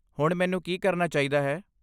ਹੁਣ ਮੈਨੂੰ ਕੀ ਕਰਨਾ ਚਾਹੀਦਾ ਹੈ?